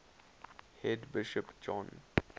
head bishop john